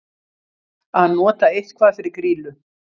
Að nota eitthvað fyrir grýlu